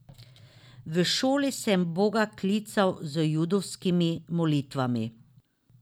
V šoli sem Boga klical z judovskimi molitvami.